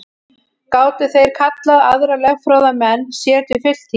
Gátu þeir kallað aðra lögfróða menn sér til fulltingis.